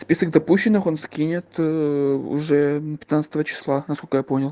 список допущенных он скинет ээ уже пятнадцатого числа насколько я понял